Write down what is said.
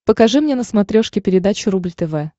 покажи мне на смотрешке передачу рубль тв